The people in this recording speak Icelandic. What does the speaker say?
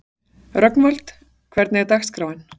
Rögnvald, hvernig er dagskráin?